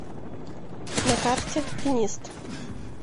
на карте финист